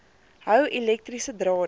hou elektriese drade